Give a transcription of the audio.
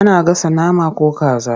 Ana gasa nama ko kaza.